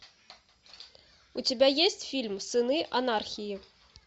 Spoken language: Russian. у тебя есть фильм сыны анархии